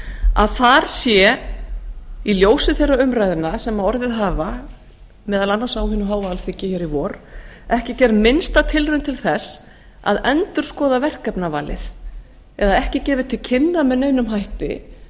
að þar sé í ljósi þeirra umræðna sem orðið hafa meðal annars á hinu háa alþingi hér í vor ekki gerð minnsta tilraun til þess að endurskoða verkefnavalið eða ekki gefið til kynna með neinum hætti